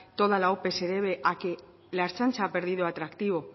toda la ope se debe a que la ertzaintza ha perdido atractivo